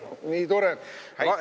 Häid jõule!